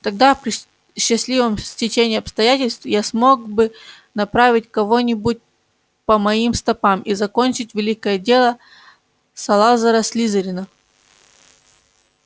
тогда при счастливом стечении обстоятельств я смог бы направить кого-нибудь по моим стопам и закончить великое дело салазара слизерина